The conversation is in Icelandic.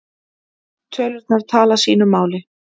Tölurnar tala sínu máli